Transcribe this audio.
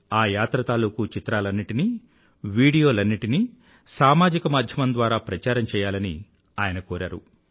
ఆ యాత్ర తాలూకూ చిత్రాలన్నింటినీ వీడియోలన్నింటినీ సామాజిక మాధ్యమం ద్వారా ప్రచారం చెయ్యాలని ఆయన కోరారు